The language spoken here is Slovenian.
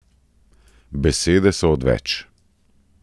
Besede so odveč!